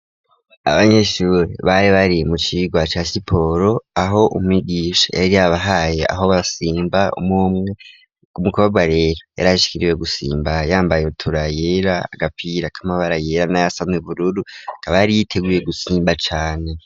Abanyeshuri bari bari mu cigwa ca siporo aho umwigisha yari yabahaye aho basimba umumwe w'umukobwa rero yari aishkiriwe gusimba yambaye ibutura yera agapira k'amabara yera n'ayasane bururu kaba yari yiteguye gusimba cane.